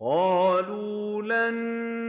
قَالُوا لَن